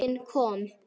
Enginn kom.